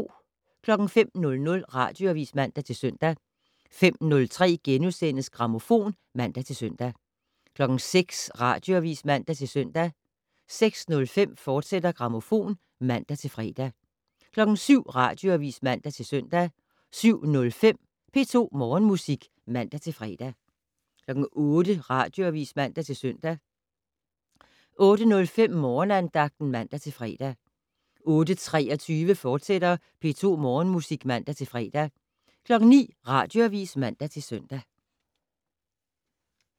05:00: Radioavis (man-søn) 05:03: Grammofon *(man-søn) 06:00: Radioavis (man-søn) 06:05: Grammofon, fortsat (man-fre) 07:00: Radioavis (man-søn) 07:05: P2 Morgenmusik (man-fre) 08:00: Radioavis (man-søn) 08:05: Morgenandagten (man-fre) 08:23: P2 Morgenmusik, fortsat (man-fre) 09:00: Radioavis (man-søn)